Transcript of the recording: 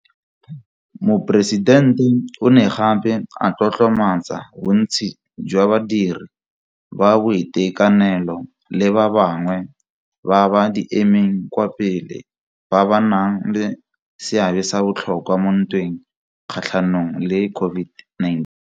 Moporesidente o ne gape a tlotlomatsa bontsi jwa badiri ba boitekanelo le ba bangwe ba ba di emeng kwa pele ba ba nang le seabe sa botlhokwa mo ntweng kgatlhanong le COVID nine.